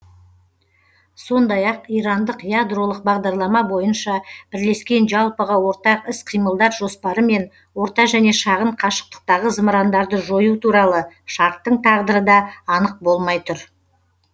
сондай ақ ирандық ядролық бағдарлама бойынша бірлескен жалпыға ортақ іс қимылдар жоспары мен орта және шағын қашықтықтағы зымырандарды жою туралы шарттың тағдыры да анық болмай тұр